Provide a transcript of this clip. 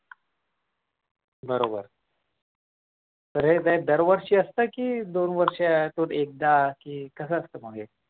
बरोबर तर हे दरवर्षी असतं कि दोन वर्ष असून एकदा कसं असतं मग हे